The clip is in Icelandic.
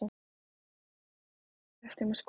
Og hvernig gátum við leyft þeim að skora?